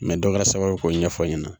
dɔ kɛra sababu ye k'o ɲɛfɔ n ɲɛna.